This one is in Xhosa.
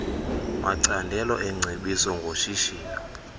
macandelo eengcebiso ngoshishino